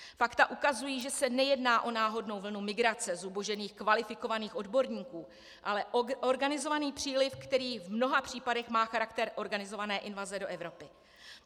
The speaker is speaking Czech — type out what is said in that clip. Fakta ukazují, že se nejedná o náhodnou vlnu migrace zubožených kvalifikovaných odborníků, ale o organizovaný příliv, který v mnoha případech má charakter organizované invaze do Evropy.